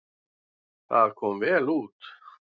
Það kom vel út.